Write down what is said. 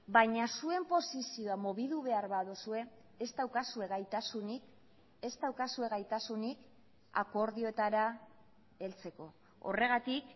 baina zuen posizioa mobitu behar baduzue ez daukazue gaitasunik ez daukazue gaitasunik akordioetara heltzeko horregatik